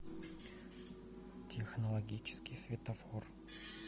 технологический светофор